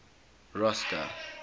rosta